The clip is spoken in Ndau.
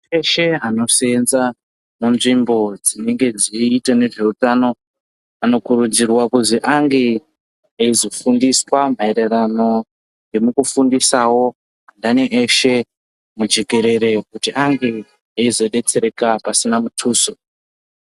Antu eshe ano senza mu nzvimbo dzinenge dzei ita nezve utano ani kurudzirwa kuzi ange eizo fundiswa maererano nemuku fundisawo andini eshe mu jekerere kuti ange eizo detsereka pasina mutuso.